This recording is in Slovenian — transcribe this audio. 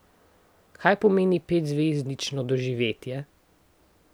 Kaj pomeni petzvezdično doživetje?